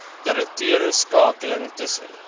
direkte skakeling tussen